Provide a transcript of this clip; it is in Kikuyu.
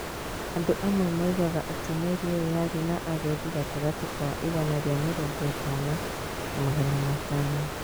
"Andũ amwe moigaga atĩ meri ĩyo yarĩ na agendi gatagatĩ ka igana ria mĩrongo ĩtano na magana matano.